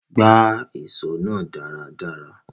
Gbá ìso náà dáradára